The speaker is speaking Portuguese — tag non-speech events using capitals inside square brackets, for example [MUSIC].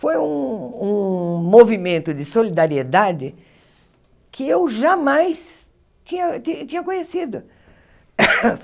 Foi um um movimento de solidariedade que eu jamais tinha ti tinha conhecido. [COUGHS]